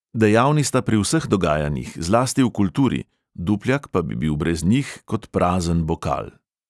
Dejavni sta pri vseh dogajanjih, zlasti v kulturi, dupljak pa bi bil brez njih kot prazen bokal.